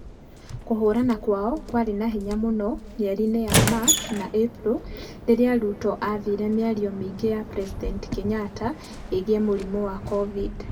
Kũhũrana kwao kwarĩ na hinya mũno mĩeri-inĩ ya Machi na Ĩpuro rĩrĩa Ruto aathire mĩario mĩingĩ ya President Kenyatta ĩgiĩ mũrimũ wa cobindi.